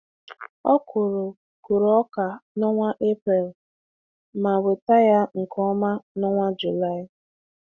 Ọ kụrụ kụrụ ọka n’onwa Eprel ma weta ya nke ọma n'onwa Juli.